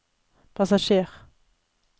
passasjer